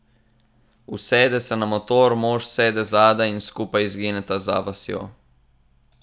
Usede se na motor, mož sede zadaj in skupaj izgineta za vasjo.